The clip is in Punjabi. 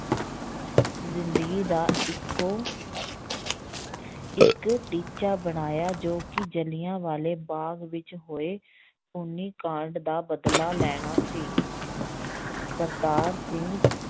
ਜ਼ਿੰਦਗੀ ਦਾ ਇੱਕੋ ਇੱਕ ਟੀਚਾ ਬਣਾਇਆ ਜੋ ਕਿ ਜਿਲ੍ਹਿਆਂ ਵਾਲੇ ਬਾਗ਼ ਵਿੱਚ ਹੋਏ ਖੂਨੀ ਕਾਂਡ ਦਾ ਬਦਲਾ ਲੈਣਾ ਸੀ ਕਰਤਾਰ ਸਿੰਘ